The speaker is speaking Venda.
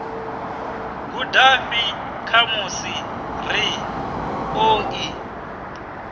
gudafhi khamusi ri ḓo ḓi